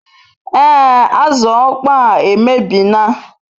Ee azu okpoo a emebie na